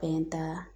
Fɛn ta